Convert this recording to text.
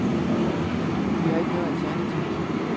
De har ikke noget alternativ.